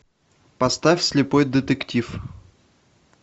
поставь слепой детектив